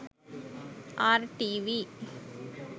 rtv